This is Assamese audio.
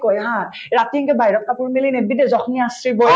কই ha ৰাতিকে বাহিৰত কাপোৰ মেলি নেদবি দেই জখনি আঁচৰিব